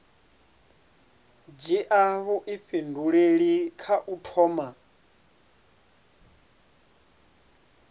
dzhia vhuifhinduleli kha u thoma